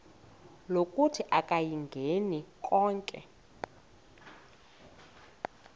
lokuthi akayingeni konke